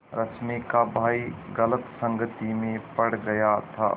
रश्मि का भाई गलत संगति में पड़ गया था